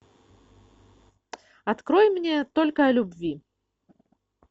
открой мне только о любви